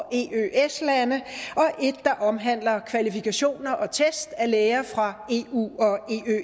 et der omhandler kvalifikationer og test af læger fra eu og